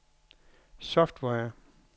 software